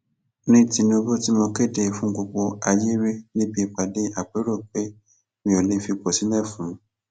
ní tinúbù tí mo kéde fún gbogbo ayé rí níbi ìpàdé àpérò pé mi ò lè fipò sílẹ fún